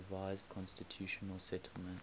revised constitutional settlement